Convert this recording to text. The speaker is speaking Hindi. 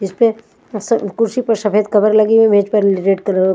इस पे स कुर्सी पर सफेद कवर लगी हुई मेज पर र रेड कलर --